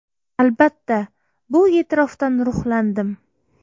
Albatta, bu e’tirofdan ruhlandim.